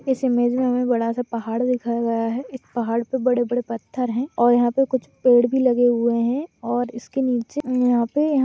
इस इमेज में हमें बड़ा सा पहाड़ दिखाया गया है इस पहाड़ पे बड़े-बड़े पत्थर है और यहाँ पे कुछ पेड़ भी लगे हुए हैं और इसके नीचे यहाँ पे य --